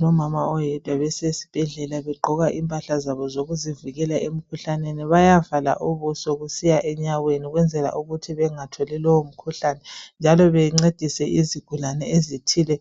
Lomama oyedwa besesibhedlela begqoka impahla zabo zokuzivikela emikhuhlaneni. Bayavala ubuso kusiya enyaweni ukwenzela ukuthi bengatholi lowo mkhuhlane, njalo bencedise izigulane ezithile